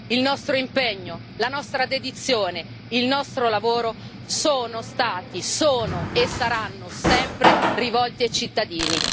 Il nostro impegno, la nostra dedizione e il nostro lavoro sono stati, sono e saranno sempre rivolti ai cittadini.